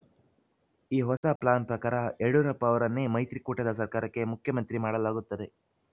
ಈ ಹೊಸ ಪ್ಲಾನ್‌ ಪ್ರಕಾರ ಯಡಿಯೂರಪ್ಪ ಅವರನ್ನೇ ಮೈತ್ರಿಕೂಟದ ಸರ್ಕಾರಕ್ಕೆ ಮುಖ್ಯಮಂತ್ರಿ ಮಾಡಲಾಗುತ್ತದೆ